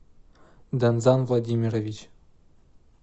данзан владимирович